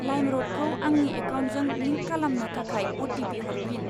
लाइमरडखौ आंनि एकाउन्टजों लिंक खालामनो थाखाय अ.टि.पि. हरफिन।